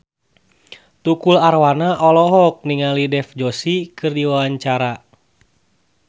Tukul Arwana olohok ningali Dev Joshi keur diwawancara